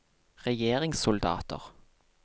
regjeringssoldater